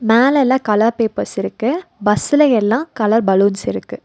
மேல எல்லா colour papers இருக்கு பஸ்ஸுல எல்லாம் கலர் பலூன்ஸ் இருக்கு.